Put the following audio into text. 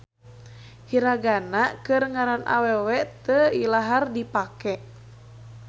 Hiragana keur ngaran awewe teu ilahar dipake.